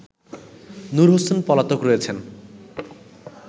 নূর হোসেন পলাতক রয়েছে